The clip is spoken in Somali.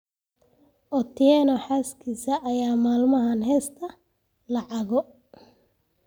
Otieno xaaskisa ayaa maalmahaan hesataa lacago